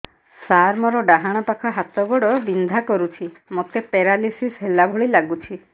ସାର ମୋର ଡାହାଣ ପାଖ ହାତ ଗୋଡ଼ ବିନ୍ଧା କରୁଛି ମୋତେ ପେରାଲିଶିଶ ହେଲା ଭଳି ଲାଗୁଛି